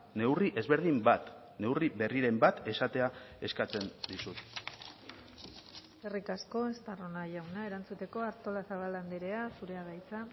neurri ezberdin bat neurri berriren bat esatea eskatzen dizut eskerrik asko estarrona jauna erantzuteko artolazabal andrea zurea da hitza